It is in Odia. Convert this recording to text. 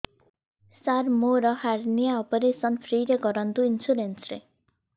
ସାର ମୋର ହାରନିଆ ଅପେରସନ ଫ୍ରି ରେ କରନ୍ତୁ ଇନ୍ସୁରେନ୍ସ ରେ